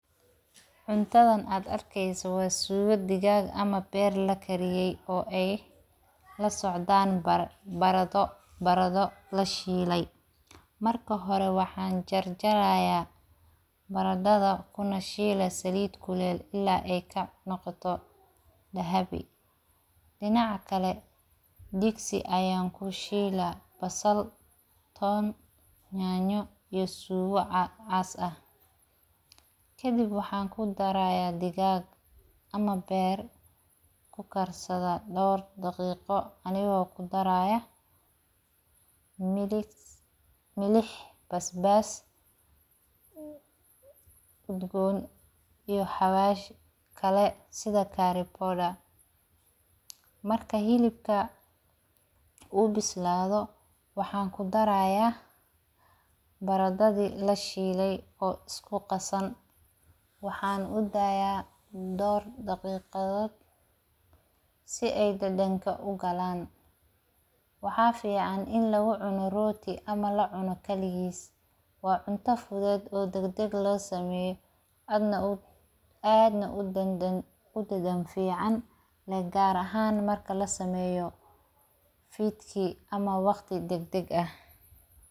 Cuntadhan aad arkeyse waa suga digag aah ama beer lakariyeye oo ay lasocdaan barado lashilay. Marka hore waxan jarjara baraddha kunashila saliid kuleel ila ay kanaqoto dahabi. Dinaac kale digsi ayan kushiila basal, toon, nyanyo iyo suga caas ah kadib waxan kudaraya digag ama beer kursadha door daqiqo anigo kudaraya miliih, basbas udgoon iyo hawashi kale sidha carry powder marka xilibka u bisaladho waxan kudaraya baradadhi lashiile oo isku qasaan waxan udaya door daqiqadhod si ay dadanka u galaan waxa fican in lagu cuno rooti ama lacuno kaligis wa cunta fudheed oo dagdag losameyo aad na udadan fican gaar ahan marka lasameyo fidki ama waqti daqadaq aah.